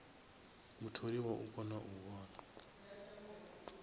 mutholiwa u kona u vhona